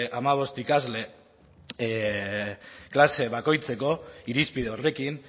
hamabost ikasle klase bakoitzeko irizpide horrekin